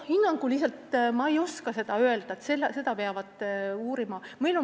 Hinnangut ei oska ma öelda, seda peab uurima.